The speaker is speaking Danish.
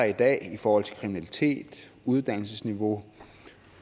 i dag i forhold til kriminalitet uddannelsesniveau